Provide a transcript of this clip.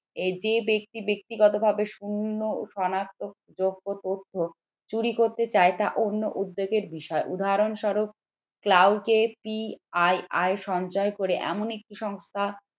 যে ব্যক্তি ব্যক্তিগতভাবে শূন্য সনাক্ত যোগ্য তথ্য চুরি করতে চায় তা অন্য উদ্যোগের বিষয় উদাহরণস্বরূপ সঞ্চয় করে এমন একটি সংস্থা